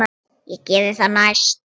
Ég geri það næst.